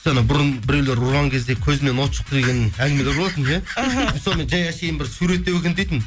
бұрын біреулер ұрған кезде көзімнен от шықты деген әңгімелер болатын соны жай әншейін бір суреттеу екен дейтінмін